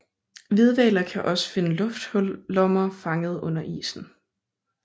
Hvidhvaler kan også finde luftlommer fanget under isen